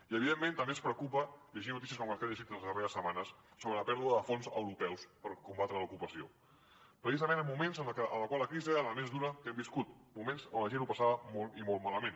i evidentment també ens preocupa llegir notícies com les que hem llegit les darreres setmanes sobre la pèrdua de fons europeus per combatre la desocupació precisament en moments en els quals la crisi era la més dura que hem viscut moments on la gent ho passava molt i molt malament